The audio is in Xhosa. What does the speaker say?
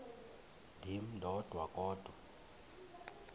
ndim ndodwa kodwa